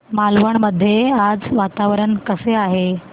मालवण मध्ये आज वातावरण कसे आहे